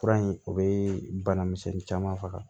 Fura in o bɛ bana misɛnnin caman faga